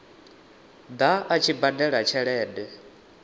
ḓa a tshi badela tshelede